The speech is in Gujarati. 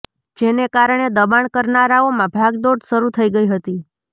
જેને કારણે દબાણ કરનારાઓમાં ભાગ દોડ શરૂ થઈ ગઈ હતી